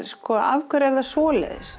af hverju er það svoleiðis